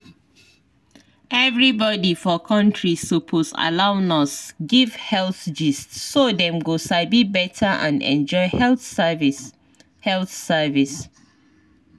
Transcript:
everybody for country suppose allow nurse give health gist so dem go sabi better and enjoy health service. health service.